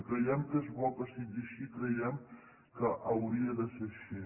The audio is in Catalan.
i creiem que és bo que sigui així i creiem que hauria de ser així